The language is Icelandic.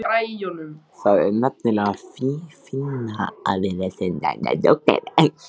Það er nefnilega fínna að vera sen en dóttir.